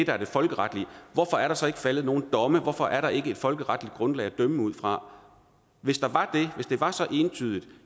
er det folkeretlige hvorfor er der så ikke faldet nogen domme hvorfor er der ikke et folkeretligt grundlag at dømme ud fra hvis der var det hvis det var så entydigt